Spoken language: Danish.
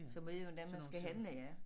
Så man ved hvordan man skal handle ja